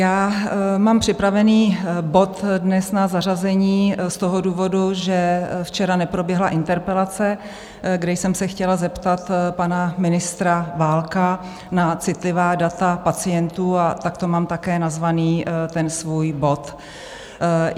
Já mám připraven bod dnes na zařazení z toho důvodu, že včera neproběhla interpelace, kdy jsem se chtěla zeptat pana ministra Válka na citlivá data pacientů, a takto mám také nazván ten svůj bod.